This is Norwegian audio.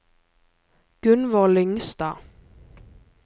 Gunvor Lyngstad